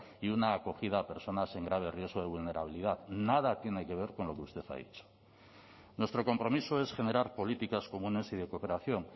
y una acogida a personas en grave riesgo de vulnerabilidad nada tiene que ver con lo que usted ha dicho nuestro compromiso es generar políticas comunes y de cooperación